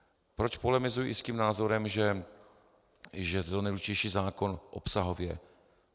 Proč polemizuji i s názorem, že je to nejdůležitější zákon obsahově.